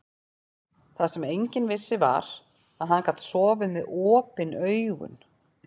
Það sem enginn vissi var, að hann gat sofið með OPIN AUGUN.